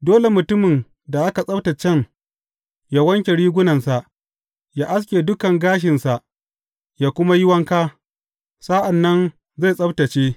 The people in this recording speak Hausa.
Dole mutumin da aka tsabtaccen ya wanke rigunansa, ya aske dukan gashinsa ya kuma yi wanka; sa’an nan zai tsabtacce.